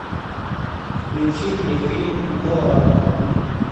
включи мне фильм моана